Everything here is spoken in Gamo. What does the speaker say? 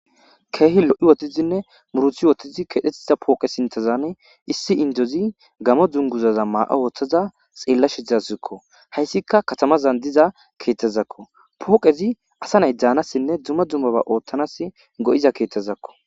keehi lo7i wothidinne muruthi wotizi keedhettiza pooqe sintezane issi indozi gamo dunguzaza maa7a ooththaza xeella shizaszikko hayssikka katamazan diza keeththezakko pooqezi asa nay daanassinne dumma dummaba oothtanas go7iza keethtezakko